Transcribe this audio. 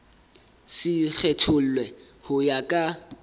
se kgethollwe ho ya ka